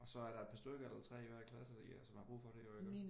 Og så er der et par stykker eller 3 i hver klasse som har brug for det jo iggå?